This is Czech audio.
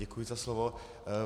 Děkuji za slovo.